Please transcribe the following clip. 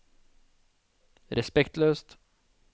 respektløst